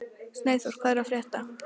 Snæþór, hvað er að frétta?